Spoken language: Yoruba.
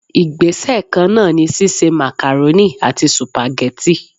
Igbese kan náà ni sise macaroni àti supageti.